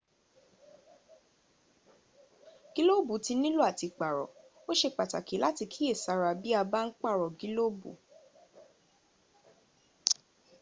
gílóòbù tí nílò à ti pààrọ̀. o sé pàtàkì láti kíyè sára bí a bá ń pààrọ̀ gílòbù